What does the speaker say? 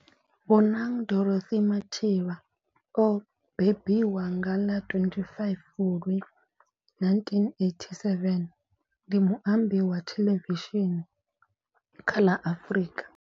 Bonang Dorothy Matheba o bembiwa nga ḽa 25 Fulwi 1987, ndi muambi wa theḽevishini kha ḽa Afrika.